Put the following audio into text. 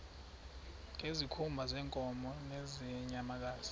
ngezikhumba zeenkomo nezeenyamakazi